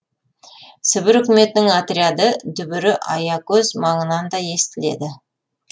сібір үкіметінің отряды дүбірі аякөз маңынан да естіледі